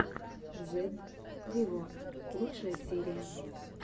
зедд виво лучшая серия